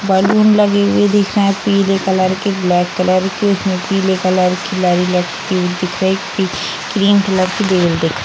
Balloon लगी हुई दिख रहे हैं पीले कलर के ब्लैक कलर के। उसमें पीले कलर की लड़ी लटकी हुई दिख रही। पी क्रीम कलर की दिख --